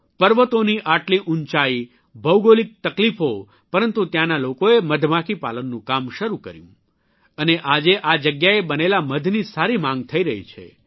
પર્વતોની આટલી ઉંચાઇ ભૌગોલિક તકલીફો પરંતુ ત્યાંના લોકોએ મધમાખી પાલનનું કામ શરૂ કર્યું અને આજે આ જગ્યાએ બનેલા મધની સારી માંગ થઇ રહી છે